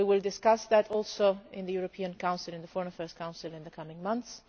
We will discuss that too in the European Council, in the Foreign Affairs Council in the coming months.